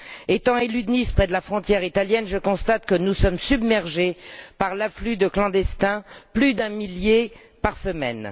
Étant élue de Nice, près de la frontière italienne, je constate que nous sommes submergés par l'afflux de clandestins plus d'un millier par semaine.